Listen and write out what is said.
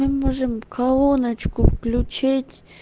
можем кола ночку включить